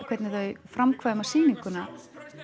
hvernig þau framkvæma sýninguna